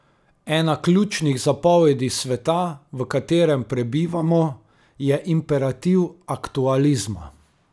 Ena ključnih zapovedi sveta, v katerem prebivamo, je imperativ aktualizma.